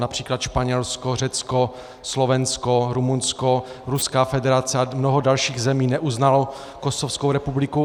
Například Španělsko, Řecko, Slovensko, Rumunsko, Ruská federace a mnoho dalších zemí neuznalo Kosovskou republiku.